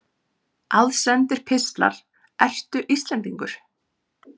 Aðsendir pistlar Ertu Íslendingur?